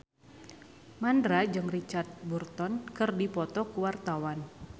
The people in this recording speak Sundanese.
Mandra jeung Richard Burton keur dipoto ku wartawan